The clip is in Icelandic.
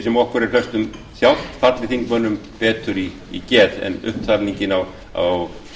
sem okkur er flestum tjáð falli þingmönnum betur í geð en upptalningin á